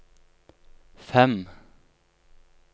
fem